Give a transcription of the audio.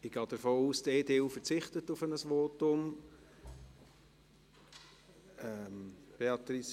Ich gehe davon aus, dass die EDU auf ein Votum verzichtet.